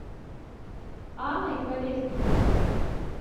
анной колесниковой